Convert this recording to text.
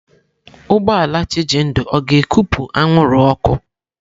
Ụgbọ ala Chijindu ọ ga-ekupụ anwụrụ ọkụ?